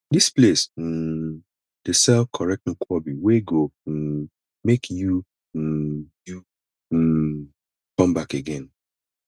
dis place um dey serve correct nkwobi wey go um make you um you um come back again